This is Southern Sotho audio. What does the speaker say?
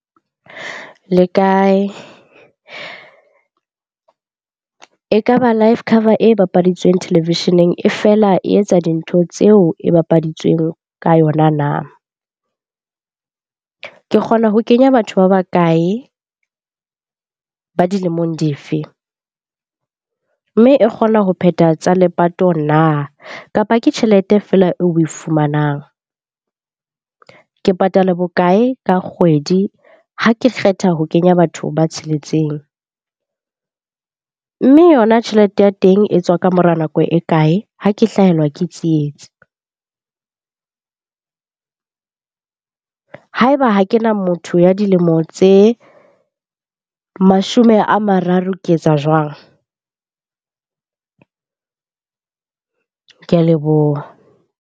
Le kae? E ka ba life cover e bapaditsweng telelevisheneng e feela e etsa dintho tseo e bapaditsweng ka yona na? Ke kgona ho kenya batho ba bakae? Ba dilemong di fe? Mme e kgona ho phetha tsa lepato na? Kapa ke tjhelete feela eo oe fumanang. Ke patala bokae ka kgwedi ha ke kgetha ho kenya batho ba tsheletseng? Mme yona tjhelete ya teng e tswa ka mora nako e kae ha ke hlahelwa ke tsietsi? Ha eba ha kena motho ya dilemo tse mashome a mararo ke etsa jwang? Ke a leboha.